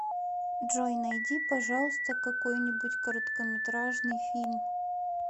джой найди пожалуйста какой нибудь короткометражный фильм